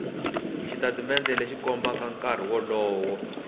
xitatimende lexi kombaka nkarhi lowu